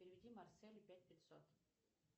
переведи марселю пять пятьсот